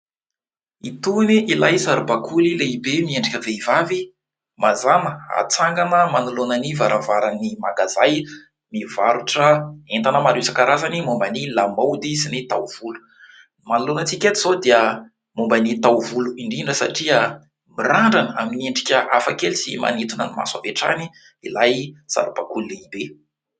Itony ilay saribakoly lehibe miendrika vehivavy. Mazàna atsangana manoloana ny varavaran'ny mangazay mivarotra entana maro isa-karazany momban' ny lamaody sy ny taovolo. Ny manoloana antsika eto izao dia momban' ny taovolo indrindra satria mirandrana amin'ny endrika hafakely sy manintona ny maso avy hatrany ilay saribakoly lehibe.